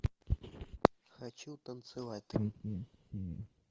хочу танцевать